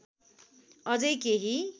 अझै केही